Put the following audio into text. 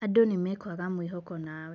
Andũ nĩmekuaga mwĩhoko nawe."